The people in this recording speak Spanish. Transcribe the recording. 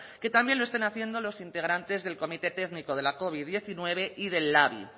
que también lo estén haciendo los integrantes del comité técnico de la covid diecinueve y de labi